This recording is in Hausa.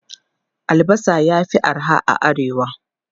Albasa ya fi arha a Arewa.